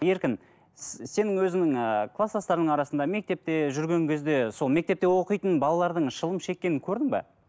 еркін сенің өзіңнің ыыы қластастарыңның арасында мектепте жүрген кезде сол мектепте оқитын балалардың шылым шеккенін көрдің бе